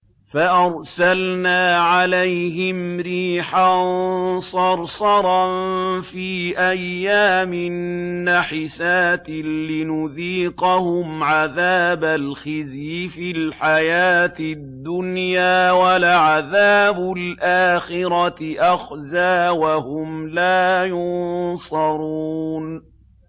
فَأَرْسَلْنَا عَلَيْهِمْ رِيحًا صَرْصَرًا فِي أَيَّامٍ نَّحِسَاتٍ لِّنُذِيقَهُمْ عَذَابَ الْخِزْيِ فِي الْحَيَاةِ الدُّنْيَا ۖ وَلَعَذَابُ الْآخِرَةِ أَخْزَىٰ ۖ وَهُمْ لَا يُنصَرُونَ